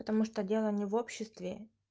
потому что дело не в обществе